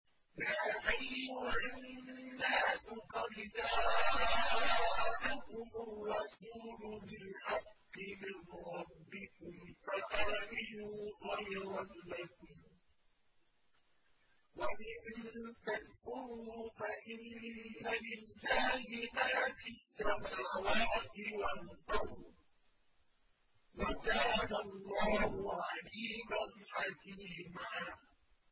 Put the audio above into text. يَا أَيُّهَا النَّاسُ قَدْ جَاءَكُمُ الرَّسُولُ بِالْحَقِّ مِن رَّبِّكُمْ فَآمِنُوا خَيْرًا لَّكُمْ ۚ وَإِن تَكْفُرُوا فَإِنَّ لِلَّهِ مَا فِي السَّمَاوَاتِ وَالْأَرْضِ ۚ وَكَانَ اللَّهُ عَلِيمًا حَكِيمًا